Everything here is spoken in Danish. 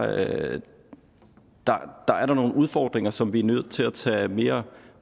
at der er der nogle udfordringer som vi er nødt til at tage mere